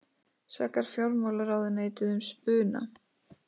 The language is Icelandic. Sakar fjármálaráðuneytið um spuna